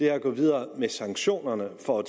er at gå videre med sanktionerne for